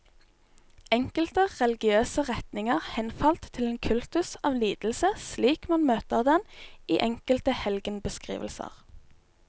Enkelte religiøse retninger henfalt til en kultus av lidelse slik man møter den i enkelte helgenbeskrivelser.